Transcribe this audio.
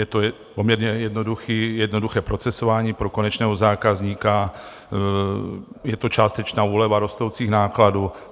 Je to poměrně jednoduché procesování pro konečného zákazníka, je to částečná úleva rostoucích nákladů.